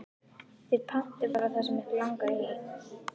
Þið pantið bara það sem ykkur langar í.